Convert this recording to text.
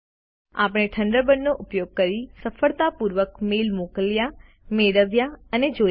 આપણે થન્ડરબર્ડનો ઉપયોગ કરી સફળતાપૂર્વક ઈમેઈલ મોકલ્યા મેળવ્યા અને જોયા છે